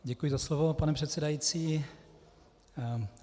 Děkuji za slovo, pane předsedající.